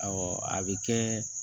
a bɛ kɛ